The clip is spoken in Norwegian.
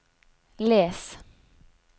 les